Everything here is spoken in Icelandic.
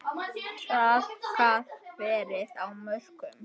Traðkað verið á mörkum.